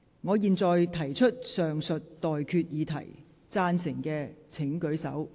我現在提出上述待決議題，贊成的請舉手。